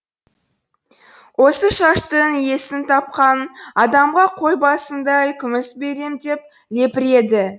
осы шаштың иесін тапқан адамға қой басындай күміс берем деп лепіреді